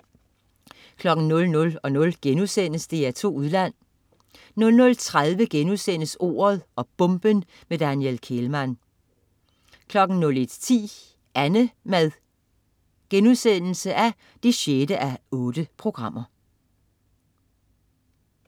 00.00 DR2 Udland* 00.30 Ordet og bomben: Daniel Kehlmann* 01.10 Annemad 6:8*